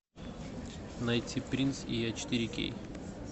найти принц и я четыре кей